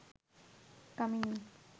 কামিনী